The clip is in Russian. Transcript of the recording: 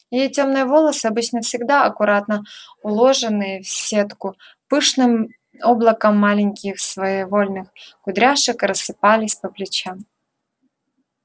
её тёмные волосы обычно всегда аккуратно уложенные в сетку пышным облаком маленьких своевольных кудряшек рассыпались по плечам